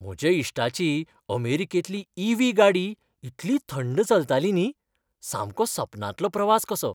म्हज्या इश्टाची अमेरिकेंतली ई. व्ही. गाडी इतली थंड चलताली न्ही, सामको सपनांतलो प्रवास कसो.